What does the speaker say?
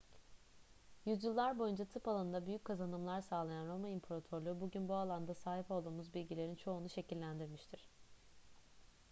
yüzyıllar boyunca tıp alanında büyük kazanımlar sağlayan roma i̇mparatorluğu bugün bu alanda sahip olduğumuz bilgilerin çoğunu şekillendirmiştir